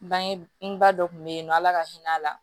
Bangeba dɔ kun bɛ ye nɔ ala ka hinɛ a la